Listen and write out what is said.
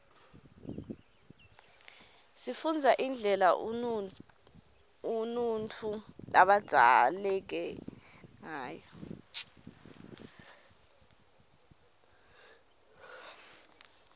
sifunbza indlela unutfu labzaleke ngayo